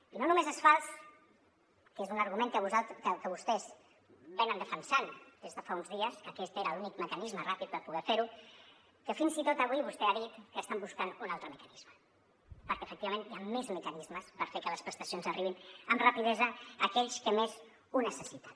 i no només és fals que és un argument que vostès defensen des de fa uns dies que aquest era l’únic mecanisme ràpid per poder fer ho que fins i tot avui vostè ha dit que estan buscant un altre mecanisme perquè efectivament hi han més mecanismes per fer que les prestacions arribin amb rapidesa a aquells que més ho necessiten